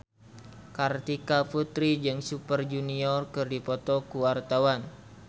Kartika Putri jeung Super Junior keur dipoto ku wartawan